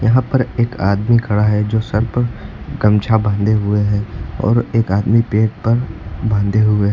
यहां पर एक आदमी खड़ा है जो सर पर गमछा बांधे हुए है और एक आदमी पेट पर बांधे हुए है।